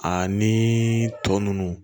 Ani tɔ ninnu